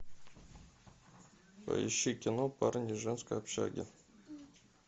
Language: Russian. поищи кино парни из женской общаги